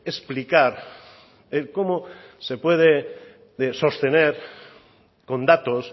explicar el cómo se puede sostener con datos